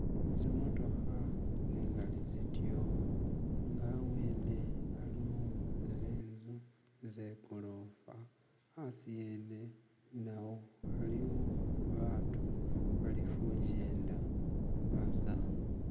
zimotoha zingali zityo nga abwene aliyo zinzu zegolofa asi yene nawo aliwo batu bali kujyenda baza